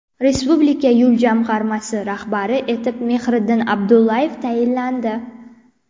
Respublika yo‘l jamg‘armasi rahbari etib Mehriddin Abdullayev tayinlandi.